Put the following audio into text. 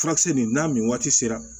Furakisɛ nin n'a nin waati sera